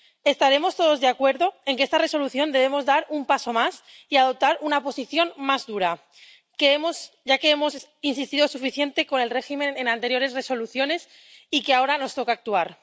Estaremos todos de acuerdo en que en esta Resolución debemos dar un paso más y adoptar una posición más dura, ya que hemos insistido suficientemente con el régimen en anteriores Resoluciones y ahora nos toca actuar.